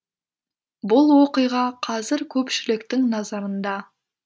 бұл оқиға қазір көпшіліктің назарында